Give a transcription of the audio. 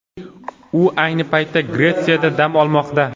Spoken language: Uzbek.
U ayni paytda Gretsiyada dam olmoqda.